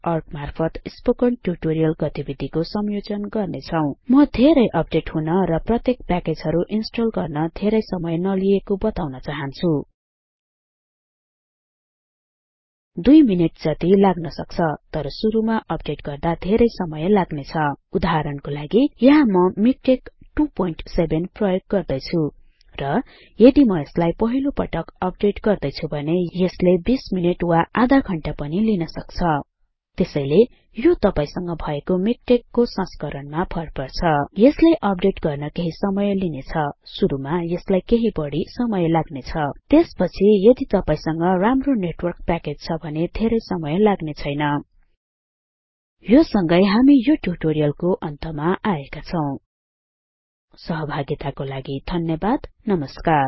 org मार्फत spoken tutorial गतिविधिको संयोजन गर्ने छौं म धेरै अपडेट हुन र प्रत्येक प्याकेजहरु इन्स्टल गर्न धेरै समय नलिएको बताउन चाहन्छु दुई मिनेट जति लाग्न सक्छ तर सुरुमा अपडेट गर्दा धेरै समय लाग्ने छ उदाहरणको लागि यहाँ म मिकटेक्स 27 प्रयोग गर्दैछुँ र यदि म यसलाई पहिलोपटक अपडेट गर्दै छुँ भने यसले २० मिनेट वा आधा घण्टा पनि लिन सक्छ त्यसैले यो तपाईसँग भएको मिकटेक्स को संस्करणमा भरपर्छ यसले अपडेट गर्न केहि समय लिनेछ सुरुमा यसलाई केहि बढि समय लाग्ने छ त्यसपछि यदि तपाईसँग राम्रो नेटवर्क प्याकेज छ भने धेरै समय लाग्ने छैन यो सँगै हामी यो ट्युटोरियलको अन्तमा आएका छौं सहभागिताको लागि धन्यवाद नमस्कार